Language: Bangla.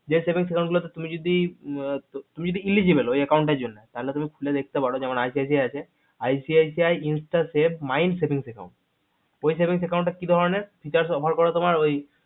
যেই saving account গুলোতে তুমি যদি তুমি যদি eligible ঐ account এর জন্যে তালে তুমি খুলে দেখতে পারে যেমন ICICI আছে ICICI insta safe my saving account ঐ saving account কি ধরণের করে তুমার